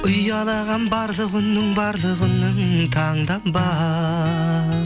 ұялаған барлық үнің барлық үнің таңдан ба